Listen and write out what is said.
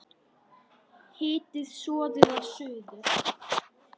Hitið soðið að suðu.